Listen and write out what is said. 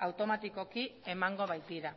automatikoki emango baitira